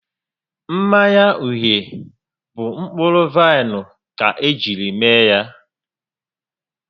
Mmanya uhie bụ mkpụrụ vaịnụ ka ejiri mee ya